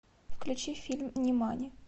включи фильм нимани